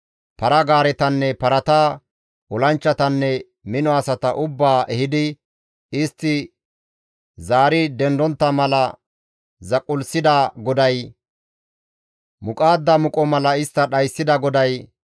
para-gaaretanne parata, olanchchatanne mino asata ubbaa ehidi, istti zaari dendontta mala zaqullisida GODAY, muqaadda bidntha mala istta dhayssida GODAY,